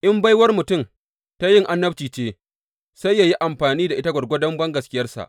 In baiwar mutum ta yin annabci ce, sai yă yi amfani da ita gwargwadon bangaskiyarsa.